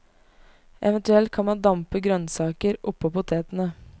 Eventuelt kan man dampe grønnsaker oppå potetene.